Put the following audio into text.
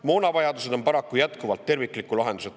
Moonavajadused on eelarves paraku jätkuvalt tervikliku lahenduseta.